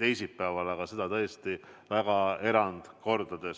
teisipäeval, aga seda tõesti väga erandkorral.